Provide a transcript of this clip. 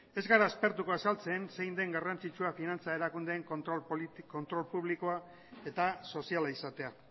ez gara aspertuko azaltzen zein den garrantzitsua finantza erakundeen kontrol publikoa eta soziala izatea